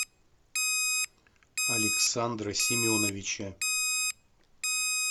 александра семеновича